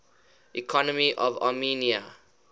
economy of armenia